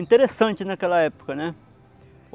Interessante naquela época, né.